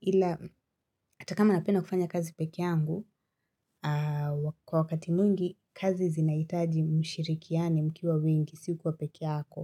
ila hatakama napenda kufanya kazi pekeyangu wakati mwingi kazi zinahitaji mshirikiano mkiwa wengi sikwa pekeyako.